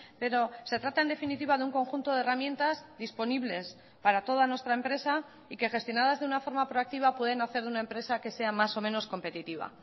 pero se trata en definitiva de un conjunto de herramientas disponibles para toda nuestra empresa y que gestionadas de una forma proactiva pueden hacer una empresa que sea mas o menos competitiva